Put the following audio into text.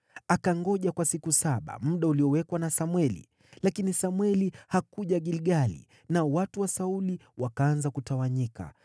Akangoja kwa siku saba, muda uliowekwa na Samweli; lakini Samweli hakuja Gilgali, nao watu wa Sauli wakaanza kutawanyika.